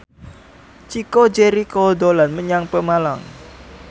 Chico Jericho dolan menyang Pemalang